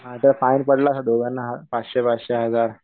हा जर फाईन पडला ना दोघांना पाचशे पाचशे हजार.